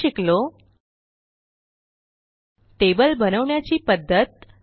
आपण शिकलो टेबल बनवण्याची पध्दत